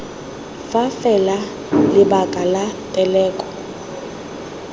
fa fela lebaka la teleko